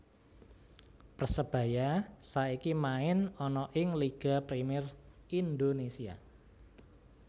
Persebaya saiki main ana ing Liga Premier Indonesia